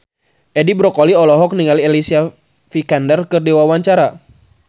Edi Brokoli olohok ningali Alicia Vikander keur diwawancara